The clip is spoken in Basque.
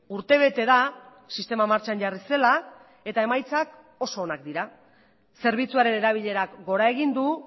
urtebete da sistema martxan jarri zela eta emaitzak oso onak dira zerbitzuaren erabilerak gora egin du